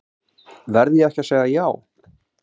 Verð ég ekki að segja já?